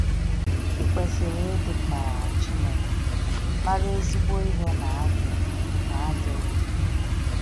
I kwesịrị ịdị ka Chineke, mara ezigbo ihe na ajọ na ajọ ihe.